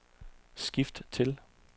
skift til